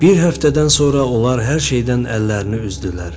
Bir həftədən sonra onlar hər şeydən əllərini üzdülər.